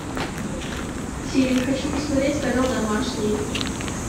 сири хочу посмотреть канал домашний